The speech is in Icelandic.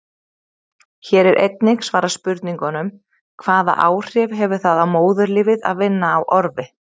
Hér er einnig svarað spurningunum: Hvaða áhrif hefur það á móðurlífið að vinna á orfi?